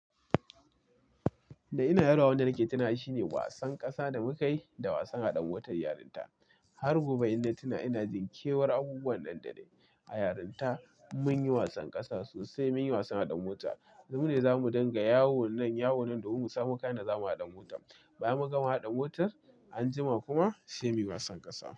Da ina yaro, wanda nake tunawa shi ne wasan ƙasa da mukayi da wasan haɗa motar yarinta. Har gobe inna tuna, ina jin kewar abubuwan nan da nai a yarinta munyi wasan ƙasa sosai, munyi wasan haɗa mota. Mu ne zamu dunga yawo nan, yawo nan domin musamo kayan da zamu haɗa motar. Bayan mun gama haɗa motar, anjima kuma sai muyi wasan ƙasa.